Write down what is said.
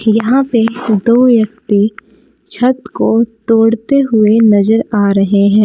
यहां पे दो व्यक्ति छत को तोड़ते हुए नजर आ रहे हैं।